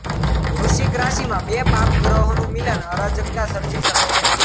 વૃશ્ચિક રાશિમાં બે પાપગ્રહોનું મિલન અરાજકતા સર્જી શકે છે